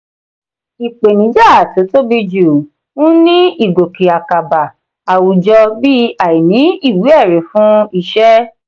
ìpèníjà tó tóbi jù ń ní ìgòkè àkàbà àwùjọ bí àìní ìwé-ẹ̀rí fún iṣẹ́.